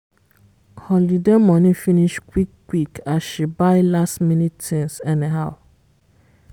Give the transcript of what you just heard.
holiday money finish quick-quick as she buy last minute things anyhow.